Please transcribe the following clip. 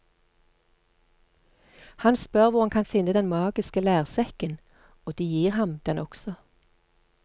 Han spør hvor han kan finne den magiske lærsekken, og de gir ham den også.